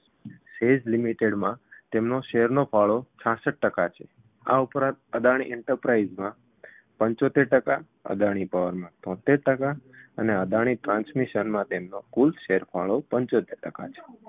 SEZlimited માં તેમનો share નો ફાળો છાસઠ ટકા છે આ ઉપરાંત અદાણી enterprise માં પંચોતેર ટકા અદાણી power માંં તોતેર ટકા અને અદાણી transmission માં તેમનો કુલ share ફાળો પંચોતેર ટકા છે